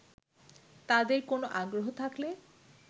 তাদের কোন আগ্রহ থাকলে